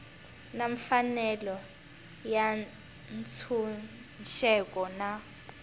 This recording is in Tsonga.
na mfanelo ya ntshunxeko na